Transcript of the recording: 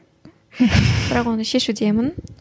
бірақ оны шешудемін